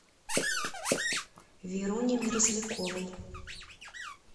веруни мерзляковой